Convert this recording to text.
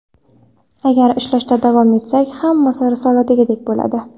Agar ishlashda davom etsak, hammasi risoladagidek bo‘ladi.